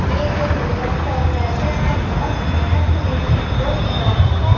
ये जो लेबर्स लोग रहते हैं ना ये बहोत मेहनत से ये चीज जो बनाते हैं।